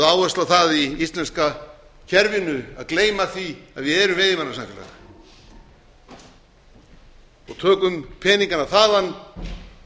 áhersla á það í íslenska kerfinu að gleyma því að við erum veiðimannasamfélag og tökum peningana þaðan